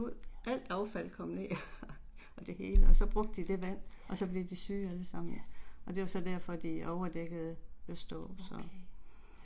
Ja. Ja. Ja. Okay